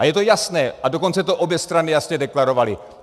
A je to jasné, a dokonce to obě strany jasně deklarovaly.